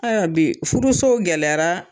Ayiwaa bi furuso gɛlɛyara.